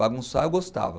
Bagunçar eu gostava.